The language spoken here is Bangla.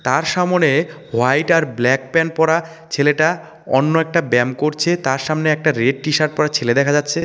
তার সামোনে হোয়াইট আর ব্ল্যাক প্যান পড়া ছেলেটা অন্য একটা ব্যায়াম করছে তার সামনে একটা রেট টি-শার্ট পরে ছেলে দেখা যাচ্ছে.